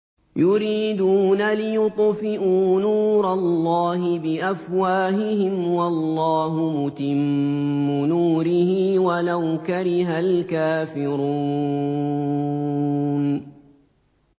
يُرِيدُونَ لِيُطْفِئُوا نُورَ اللَّهِ بِأَفْوَاهِهِمْ وَاللَّهُ مُتِمُّ نُورِهِ وَلَوْ كَرِهَ الْكَافِرُونَ